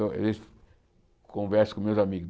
converso com meus amigos.